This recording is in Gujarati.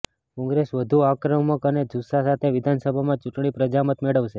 કોંગ્રેસ વધુ આક્રમક અને જુસ્સા સાથે વિધાનસભા ચૂંટણીમાં પ્રજામત મેળવશે